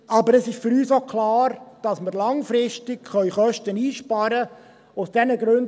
Aber es ist für uns auch klar, dass wir aus den Gründen, die ich erwähnt habe, langfristig Kosten einsparen können: